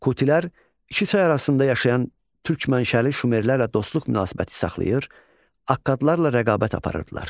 Kutilər iki çay arasında yaşayan türk mənşəli Şumerlərlə dostluq münasibəti saxlayır, Akkadlarla rəqabət aparırdılar.